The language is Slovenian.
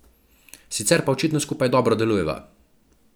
Sicer pa očitno skupaj dobro delujeva.